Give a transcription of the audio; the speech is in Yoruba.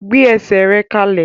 Gbé esè rẹ kalẹ!